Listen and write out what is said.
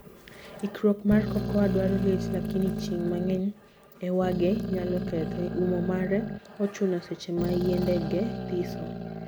Ikruok mar cocoa dwaro liet lakini chieng mangeny e wage nyalo kethe. Umo mare ochuno seche ma yiendege thiso.